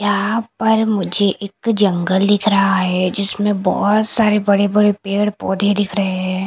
यहां पर मुझे एक जंगल दिख रहा है जिसमें बहोत सारे बड़े बड़े पेड़ पौधे दिख रहे हैं।